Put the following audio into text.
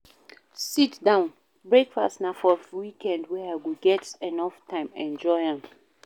Sit-down breakfast na for weekend wen I go get enough time enjoy am.